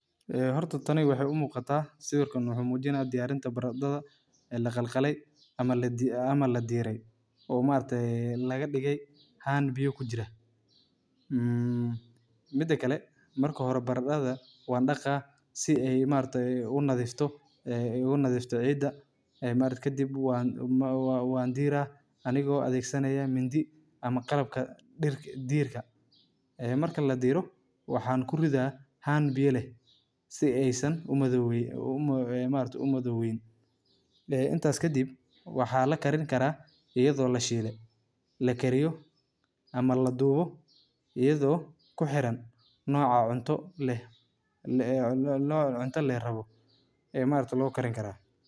Baradhada waa mid ka mid ah khudaarta ugu muhiimsan ee laga beero adduunka, waxayna asal ahaan ka soo jeeddaa Koonfurta afrika gaar ahaan gobolka. Baradhada waxay leedahay qiimo weyn oo nafaqo leh, iyadoo hodan ku ah, fiitamiino, iyo macdano badan. Waxaa si ballaaran loogu isticmaalaa cuntooyinka kala duwan ee caalamka.